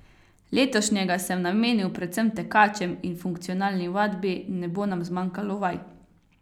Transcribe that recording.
Letošnjega sem namenil predvsem tekačem in funkcionalni vadbi, ne bo nam zmanjkalo vaj.